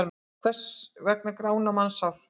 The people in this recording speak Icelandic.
Hvers vegna grána mannshár?